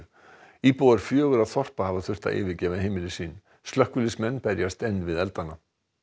íbúar fjögurra þorpa hafa þurft að yfirgefa heimili sín slökkviliðsmenn berjast enn við eldana